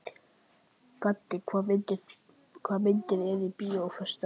Gaddi, hvaða myndir eru í bíó á föstudaginn?